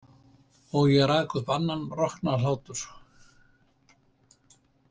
Og ég rak upp annan roknahlátur.